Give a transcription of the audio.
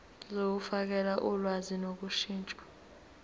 zokufakela ulwazi ngokushintsha